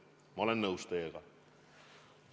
Ma olen teiega nõus.